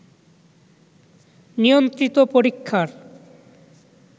নিয়ন্ত্রিত পরীক্ষার